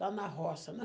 Lá na roça, né?